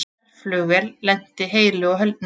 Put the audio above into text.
Herflugvél lenti heilu og höldnu